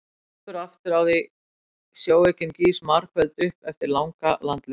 Hann sýpur aftur á því sjóveikin gýs margföld upp eftir langa landlegu.